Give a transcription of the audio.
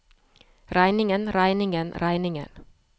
regningen regningen regningen